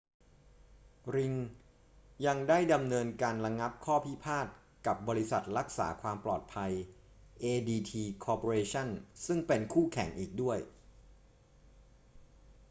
ริงยังได้ดำเนินการระงับข้อพิพาทกับบริษัทรักษาความปลอดภัย adt corporation ซึ่งเป็นคู่แข่งอีกด้วย